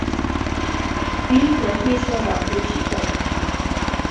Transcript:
фильм плохие слова включи ка